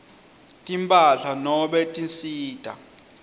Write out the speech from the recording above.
timphahla nobe tinsita